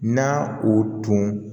Na o tun